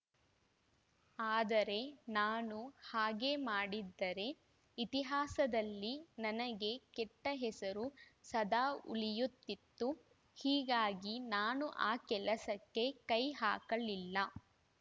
ಆದರೆ ನಾನು ಹಾಗೆ ಮಾಡಿದ್ದರೆ ಇತಿಹಾಸದಲ್ಲಿ ನನಗೆ ಕೆಟ್ಟಹೆಸರು ಸದಾ ಉಳಿಯುತ್ತಿತ್ತು ಹೀಗಾಗಿ ನಾನು ಆ ಕೆಲಸಕ್ಕೆ ಕೈಹಾಕಲಿಲ್ಲ